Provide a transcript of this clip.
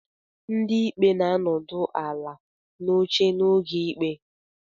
Ndị ikpe na-anọdụ ala n'oche n'oge ikpe